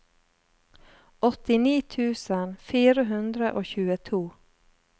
åttini tusen fire hundre og tjueto